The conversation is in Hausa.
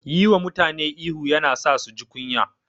Yi wa mutane ihu yana sa su ji kunya.